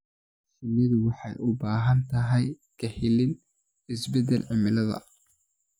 Shinnidu waxay u baahan tahay ka ilaalin isbeddelka cimilada.